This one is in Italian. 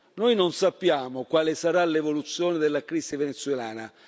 Noi non sappiamo quale sarà l'evoluzione della crisi venezuelana.